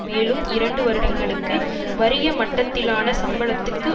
மேலும் இரண்டு வருடங்களுக்கு வறிய மட்டத்திலான சம்பளத்துக்கு